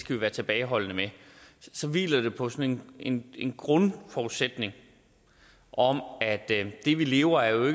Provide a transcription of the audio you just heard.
vi være tilbageholdende med så hviler det på sådan en en grundforudsætning om at det vi lever af